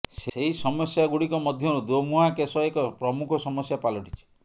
ସେହି ସମସ୍ୟାଗୁଡ଼ିକ ମଧ୍ୟରୁ ଦୋମୁହାଁ କେଶ ଏକ ପ୍ରମୁଖ ସମସ୍ୟା ପାଲଟିଛି